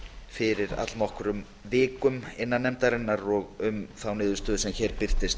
fyrir allnokkrum vikum innan nefndarinnar og var góð sátt um á niðurstöðu sem hér birtist